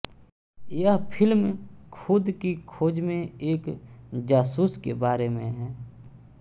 यह फिल्म खुद की खोज में एक जासूस के बारे में है